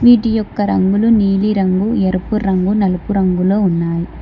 వీటి ఒక్క రంగులు నీలి రంగు ఎరుపు రంగు నలుపు రంగులో ఉన్నాయి.